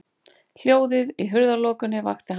Hljóðið í hurðarlokunni vakti hann.